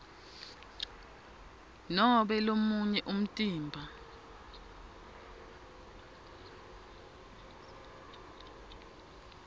nobe lomunye umtimba